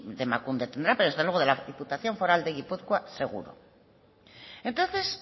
de emakunde tendrá pero desde luego de la diputación foral de gipuzkoa seguro entonces